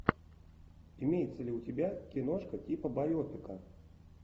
имеется ли у тебя киношка типа байопика